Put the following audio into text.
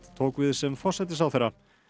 tók við sem forsætisráðherra